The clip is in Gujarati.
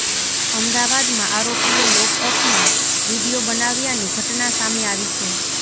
અમદાવાદમાં આરોપીએ લોકઅપમાં વીડિયો બનાવ્યાની ઘટના સામે આવી છે